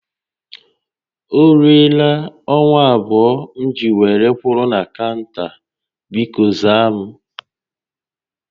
O ruela awa abụọ m ji were kwụrụ na kaụnta, bikọ za m